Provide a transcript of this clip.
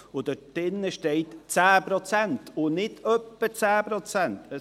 Und dort drin steht «10 Prozent» und nicht «etwa 10 Prozent».